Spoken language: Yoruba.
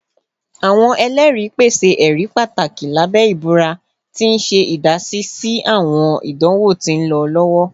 Awọn ẹlẹri pese ẹri pataki labẹ ibura, ti n ṣe idasi si awọn idanwo ti nlọ lọwọ